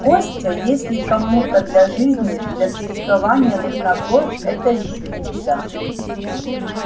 костя если кому-то для жизни для существования нужна кровь это ещё не беда